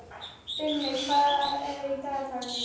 Brimi, hvað er í dagatalinu í dag?